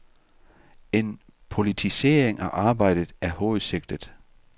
En politisering af arbejdet er hovedsigtet.